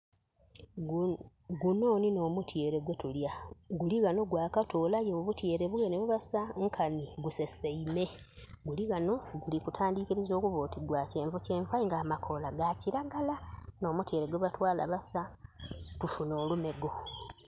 Gunho nhi nh'omutyeere gwe tulya. Guli ghano gwakatoolayo omutyeere gwenhe gwebasa nkani guseseime. Guli ghano guli tandikiriza okuba oti gwa kyenvukyenvu aye nga amakoola ga kiragala. N'omtyeere gwe batwaala basa tufunhe olumego.